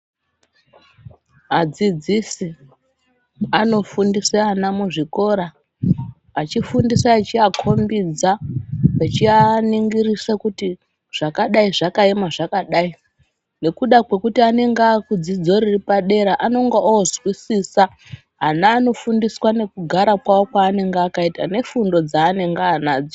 Adzidzisi anofundisa ana muzvikora, achifundisa achiakombidza, achianingirisa kuti zvakadayi zvakayema zvakadayi, nokuda kwekuti anenga akudzidzo repadera, anenge ozwisisa ana anofundiswa nekugara kwawo kwaanenge akayita nefundo dzaanenge anadzo.